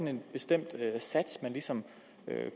en bestemt sats man ligesom